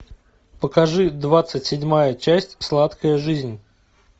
покажи двадцать седьмая часть сладкая жизнь